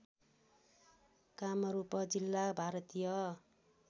कामरूप जिल्ला भारतीय